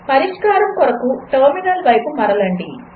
పరిష్కారం కొరకు టెర్మినల్ వైపు మరలండి